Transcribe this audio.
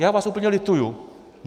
Já vás úplně lituju.